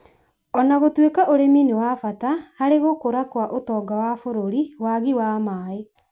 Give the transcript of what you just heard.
O na gũtuĩka ũrĩmi nĩ wa bata harũ gũkũra kwa ũtonga wa bũrũri, wagi wa maĩ